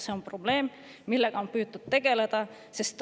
See on probleem, millega on püütud tegeleda.